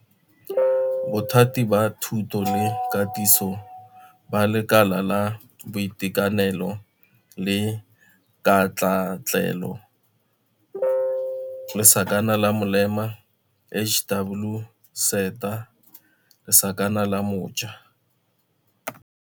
Bothati ba Thuto le Katiso ba Lekala la Boitekanelo le Katlaatlelo lesakana la molema HWSETA lesakana la mo ja.